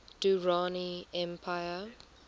durrani empire